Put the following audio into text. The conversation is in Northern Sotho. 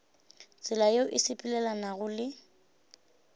tsela yeo e sepelelanago le